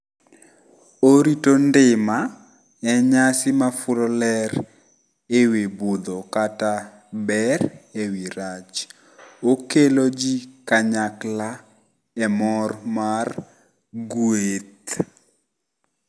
Orito ndima enyasi mafulo ler ewi budho kata ber ewi rach. Okelo ji kanyakla e mor mar gweth.